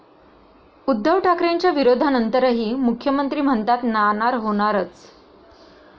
उद्धव ठाकरेंच्या विरोधानंतरही मुख्यमंत्री म्हणतात नाणार होणारच!